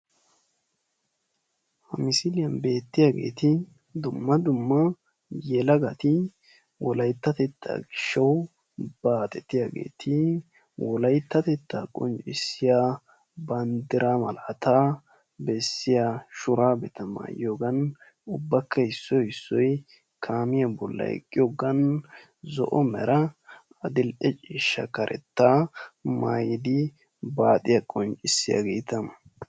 Ha misiliyan bettiyageeti dumma dumma yelagati wolayittatetta gishshawu baaxetiyageeti wolayittatetta qonccissiya banddira malaataa bessiya shuraabetta mayiyogan ubbakka issoy issoy kamiya bollan eqqiyogan zo'o mera adil'e ciishsha karettaa mayidi baxiya qonccissiyageta.